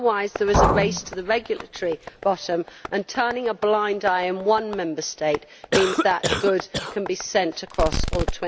Otherwise, there is a race to the regulatory bottom, and turning a blind eye in one Member State means that those goods can be sent across all